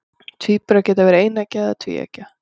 tvíburar geta verið eineggja eða tvíeggja